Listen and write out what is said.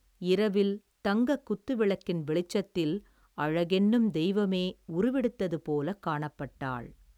இரவில் தங்கக் குத்துவிளக்கின் வெளிச்சத்தில் அழகென்னும் தெய்வமே உருவெடுத்தது போலக் காணப்பட்டாள்.